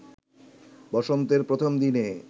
বসন্তের প্রথম দিনে